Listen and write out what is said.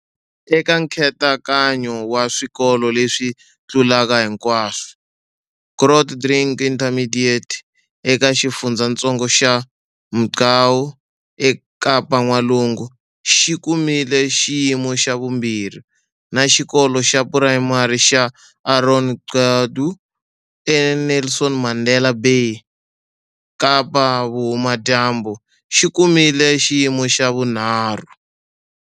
Eka nkhetekanyo wa Swikolo leswi Tlulaka Hinkwaswo, Grootdrink Intermediate, eka xifundzatsongo xa Mgcawu, eKapa-N'walungu, xi kumile xiyimo xa vumbirhi, na Xikolo xa Phurayimari xa Aaron Gqedu, eNelson Mandela Bay, Kapa-Vuhumadyambu, xi kumile xiyimo xa vunharhu.